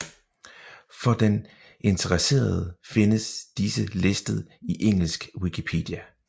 For den interesserede findes disse listet i engelsk Wikipedia